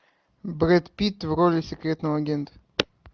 брэд питт в роли секретного агента